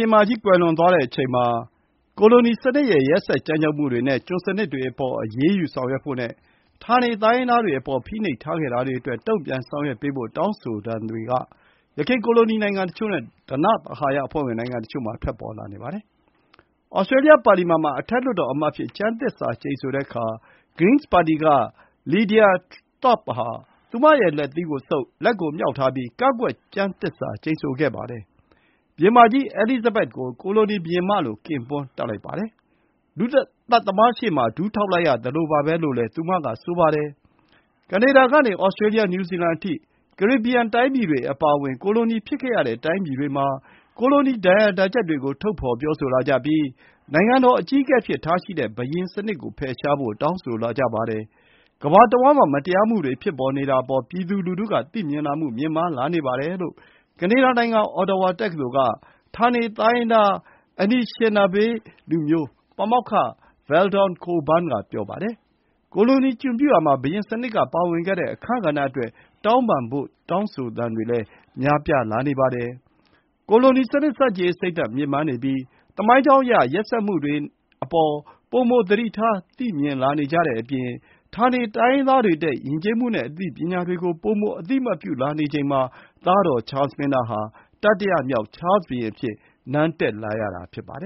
င်မကြီး ကွယ်လွန်သွားတဲ့အချိန်မှာ ကိုလိုနီစနစ်ရဲ့ ရက်စက်ကြမ်းကြုတ်မှုတွေနဲ့ ကျွန်စနစ်တွေအပေါ် အရေးယူဆောင်ရွက်ဖို့နဲ့ ဌာနေ တိုင်းရင်းသားတွေ အပေါ် ဖိနှိပ်ထားခဲ့တာတွေအတွက် တုံ့ပြန်ဆောင်ရွက်ပေးဖို့ တောင်းဆိုသံတွေ က ယခင် ကိုလိုနီ နိုင်ငံတချို့နဲ့ ဓနသဟာယအဖွဲ့ဝင် နိုင်ငံတချို့မှာ ထွက်ပေါ်လာနေပါတယ်။ Australia ပါလီမန်မှာ အထက်လွှတ်တော်အမတ်အဖြစ် ကျမ်းသစ္စာကျိန်ဆိုတဲ့အခါ Greens ပါတီ က Lidia Thorpe ဟာ သူမရဲ့ လက်သီးကိုဆုပ်၊ လက်ကိုမြှောက်ထားပြီး ကန့်ကွက် ကျမ်းသစ္စာကျိန်ဆိုခဲ့ပါတယ်။ ဘုရင်မကြီး Elizabeth II ကို ကိုလိုနီဘုရင်မလို့ ကင်ပွန်းတပ်လိုက်ပါတယ်။ လူသတ်သမားရှေ့မှာ ဒူးထောက်လိုက်ရသလိုပါပဲလို့ သူမက ဆိုပါတယ်။ Canada ကနေ Australia New Zeland အထိ ကာရေဘီယန် တိုင်းပြည်တွေ အပါအဝင် ကိုလိုနီဖြစ်ခဲ့ရတဲ့ တိုင်းပြည်တွေမှာ ကိုလိုနီ ဒဏ်ရာဒဏ်ချက်တွေကို ထုတ်ဖော်ပြောဆိုလာကြပြီး နိုင်ငံတော်အကြီးအကဲအဖြစ်ထားရှိရတဲ့ ဘုရင်စနစ် ကို ဖယ်ရှားဖို့ တောင်းဆိုလာကြပါတယ်။ ကမ္ဘာတဝှမ်းမှာ မတရားမှုတွေ ဖြစ်နေတာအပေါ် ပြည်သူလူထုက သိမြင်လာမှု မြင့်မားလာနေပါတယ်လို့ ကနေဒါ နိုင်ငံ Ottawa တက္ကသိုလ် က ဌာနေတိုင်းရင်းသား Anishinaabe လူမျိုး ပါမောက္ခ Veldon Coburn က ပြောပါတယ်။ ကိုလိုနီ ကျွန်ပြုရာမှာ ဘုရင်စနစ်က ပါဝင်ခဲ့တဲ့အခန်းကဏ္ဍအတွက် တောင်းပန်ဖို့ တောင်းဆိုသံတွေလည်း များပြားလာနေပါတယ်။ ကိုလိုနီစနစ် ဆန့်ကျင်ရေး စိတ်ဓာတ် မြင့်မားနေပြီး သမိုင်းကြောင်းအရ ရက်စက်မှုတွေအပေါ် ပိုမို သတိထားသိမြင်လာနေကြတဲ့အပြင် ဌာနေတိုင်းရင်းသားတွေ ရဲ့ ယဉ်ကျေးမှုနဲ့ အသိပညာတွေကို ပိုမို အသိအမှတ်ပြုလာနေချိန်မှာ သားတော် ချားလ် မင်းသားဟာ တတိယမြောက် ချားလ်ဘုရင် အဖြစ် နန်းတက်လာရတာ ဖြစ်ပါတ